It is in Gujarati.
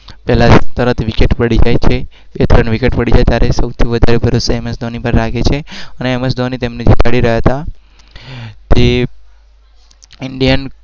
પહેલા તરત વિકેટ પડી જે ચ.